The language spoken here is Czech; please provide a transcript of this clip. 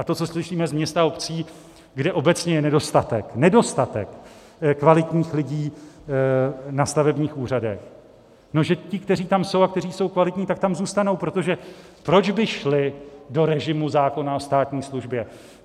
A to, co slyšíme z měst a obcí, kde obecně je nedostatek, nedostatek kvalitních lidí na stavebních úřadech, že ti, kteří tam jsou a kteří jsou kvalitní, tak tam zůstanou, protože proč by šli do režimu zákona o státní službě?